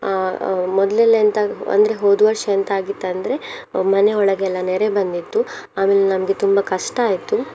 ಅಹ್ ಅಹ್ ಮೊದ್ಲೆಲ್ಲ ಎಂತ ಅಂದ್ರೆ ಹೋದ ವರ್ಷ ಏಂತಾಗಿತ್ತಂದ್ರೆ ಮನೆ ಒಳಗೆಲ್ಲ ನೆರೆ ಬಂದಿತ್ತು ಆಮೇಲೆ ನಮ್ಗೆ ತುಂಬ ಕಷ್ಟ ಆಯ್ತು.